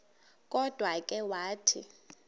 kodwa ke wathi